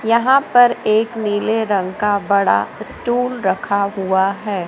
यहां पर एक नीले रंग का बड़ा स्टूल रखा हुआ हैं।